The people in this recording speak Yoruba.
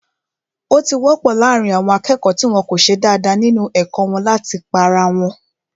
Ó ti wọ́pọ̀ láàrín àwọn akẹ́kọ̀ọ́ tí wọ́n ko ṣe dáadáa nínu ẹ̀kọ́ wọn láti pá ara wọn